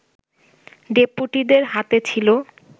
ডেপুটিদের হাতে ছিল